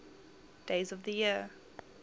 days of the year